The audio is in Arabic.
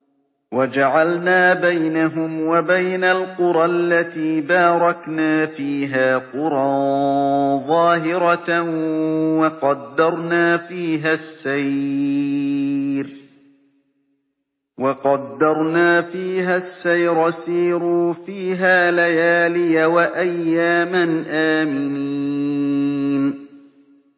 وَجَعَلْنَا بَيْنَهُمْ وَبَيْنَ الْقُرَى الَّتِي بَارَكْنَا فِيهَا قُرًى ظَاهِرَةً وَقَدَّرْنَا فِيهَا السَّيْرَ ۖ سِيرُوا فِيهَا لَيَالِيَ وَأَيَّامًا آمِنِينَ